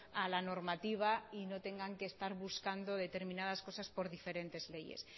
a la normativa y no tengan que estar buscando determinadas cosas por diferentes leyes